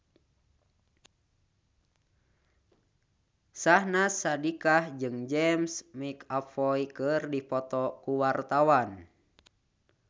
Syahnaz Sadiqah jeung James McAvoy keur dipoto ku wartawan